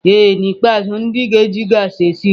Ee n'ikpeazụ, ndị ga-eji gaasị esi nri.